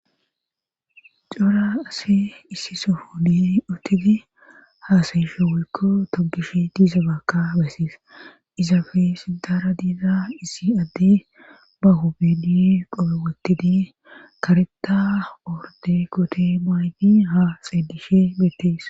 Cora ase issi sofoni otidi haasayishe woykko togish diiza baka besseesa izafe sintara diiza issi adde ba hu bidi qope wotidi kareta orde kote maaygi ha xeedishe beettees.